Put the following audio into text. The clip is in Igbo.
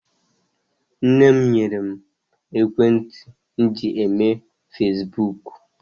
Nne m nyere mụ ekwentị m ji eme fasibuuku.